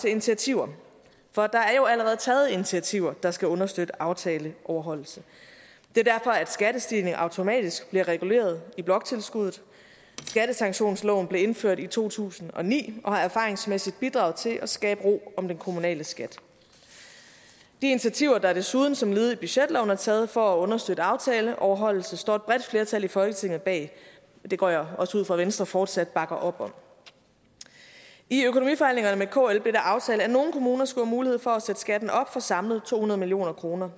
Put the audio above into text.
initiativer for der er jo allerede taget initiativer der skal understøtte aftaleoverholdelse det er derfor at skattestigningen automatisk bliver reguleret i bloktilskuddet skattesanktionsloven blev indført i to tusind og ni og har erfaringsmæssigt bidraget til at skabe ro om den kommunale skat de initiativer der desuden som et led i budgetloven er taget for at understøtte aftaleoverholdelse står et bredt flertal i folketinget bag og det går jeg også ud fra at venstre fortsat bakker op om i økonomiforhandlingerne med kl blev det aftalt at nogle kommuner skulle have mulighed for at sætte skatten op for samlet to hundrede million kroner